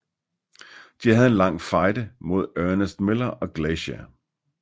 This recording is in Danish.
De havde en lang fejde mod Ernest Miller og Glacier